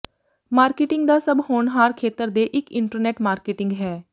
marketing ਦਾ ਸਭ ਹੋਨਹਾਰ ਖੇਤਰ ਦੇ ਇੱਕ ਇੰਟਰਨੈੱਟ ਮਾਰਕੀਟਿੰਗ ਹੈ